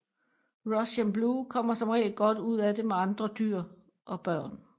Russian Blue kommer som regel godt ud af det med andre dyr og børn